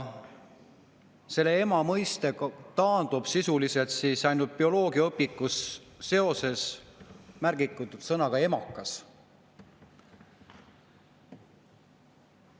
Ema mõiste taandub sisuliselt ainult bioloogiaõpikus märgitud sõnale "emakas".